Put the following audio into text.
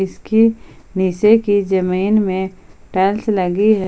इसके नीचे के जमीन में टाइल्स लगी है।